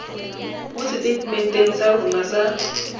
mo seteitementeng sa rona sa